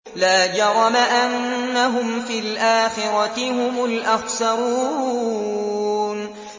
لَا جَرَمَ أَنَّهُمْ فِي الْآخِرَةِ هُمُ الْأَخْسَرُونَ